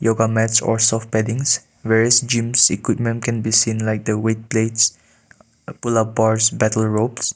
yoga mats or soft paddings where is gym's equipment can be seen like the weight plates pullup bars battle ropes.